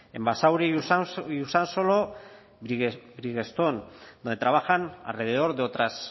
en basauri y usansolo bridgestone donde trabajan alrededor de otras